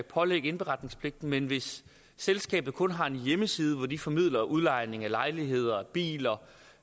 pålægge indberetningspligten men hvis selskabet kun har en hjemmeside hvor de formidler udlejning af lejligheder biler